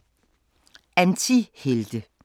Antihelte